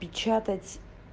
печатать